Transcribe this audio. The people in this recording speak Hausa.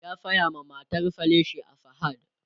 ya saya ma matar sa leshi a sahad